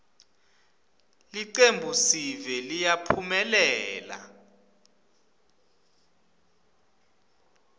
ltcembuiesive liyaphumelela